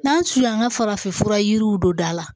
N'an su an ka farafinfura yiriw don da la